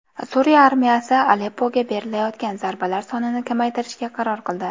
Suriya armiyasi Aleppoga berilayotgan zarbalar sonini kamaytirishga qaror qildi.